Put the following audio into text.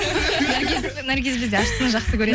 наргиз бізде ащыны жақсы көреді